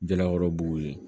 Jalakɔrɔbugu yen